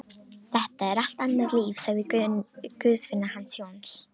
Þetta er allt annað líf, sagði Guðfinna hans Jóns.